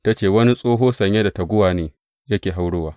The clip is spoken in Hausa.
Ta ce, Wani tsoho sanye da taguwa ne yake haurawa.